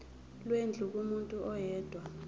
lwendlu kumuntu oyedwa